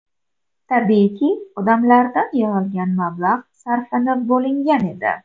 Tabiiyki, odamlardan yig‘ilgan mablag‘ sarflab bo‘lingan edi.